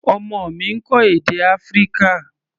Ọmọ mi ń kọ́ èdè Áfíríkà.